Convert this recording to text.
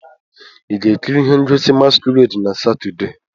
Ị ga-ekiri ihe ngosi masquerade na Satọde?